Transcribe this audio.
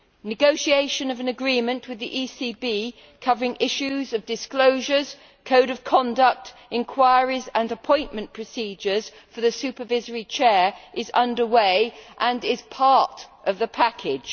Negotiation of an agreement with the ECB, covering issues of disclosure, a code of conduct, inquiries and appointment procedures for the supervisory Chair, is under way and is part of the package.